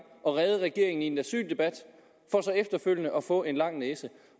at redde regeringen i en asyldebat for så efterfølgende at få en lang næse